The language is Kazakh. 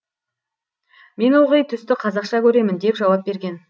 мен ылғи түсті қазақша көремін деп жауап берген